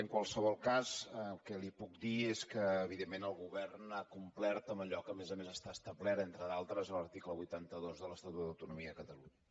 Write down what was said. en qualsevol cas el que li puc dir és que evidentment el govern ha complert amb allò que a més a més està establert entre d’altres a l’article vuitanta dos de l’estatut d’autonomia de catalunya